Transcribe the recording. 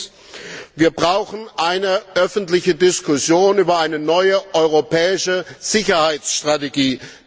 Drittens Wir brauchen eine öffentliche Diskussion über eine neue europäische Sicherheitsstrategie.